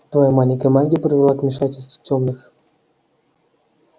твоя маленькая магия привела к вмешательству тёмных